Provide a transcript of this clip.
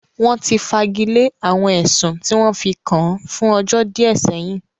Wọ́n ti fagilé àwọn ẹ̀sùn tí wọ́n fi kàn án fún ọjọ́ díẹ̀ sẹ́yìn